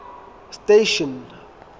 station